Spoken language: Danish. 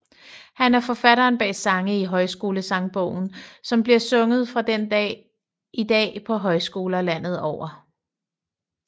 Han er forfatteren bag sange i Højskolesangbogen som bliver sunget fra den dag i dag på højskoler landet over